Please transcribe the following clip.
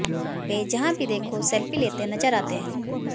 वे जहां भी देखो सेल्फी लेते नजर आते हैं